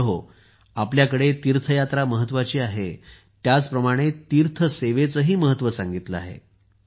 मित्रहोआपल्याकडे तीर्थयात्रा महत्वाची आहे त्याचप्रमाणे तीर्थ सेवेचेही महत्त्व सांगितले आहे